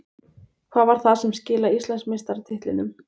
Hvað var það sem skilaði Íslandsmeistaratitlinum?